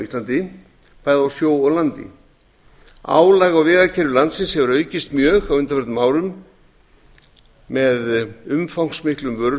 íslandi bæði á sjó og landi álag á vegakerfi landsins hefur aukist mjög á undanförnum árum með umfangsmiklum